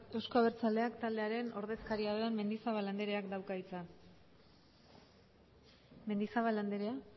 euzko abertzaleak taldearen ordezkaria den mendizabal andreak dauka hitza mendizabal andrea